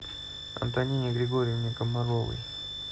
антонине григорьевне комаровой